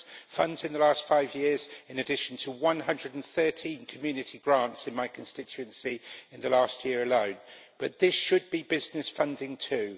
funds in the last five years, in addition to 113 community grants in my constituency in the last year alone, but this should be business funding, too.